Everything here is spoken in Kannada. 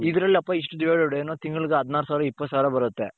ಇದರಲ್ಲಿ ಅಪ್ಪ ಇಷ್ಟು divided ಏನು ತಿಂಗಳಿಗೆ ಹದಿನಾರು ಸಾವಿರ ಇಪತ್ತು ಸಾವಿರ ಬರುತ್ತೆ .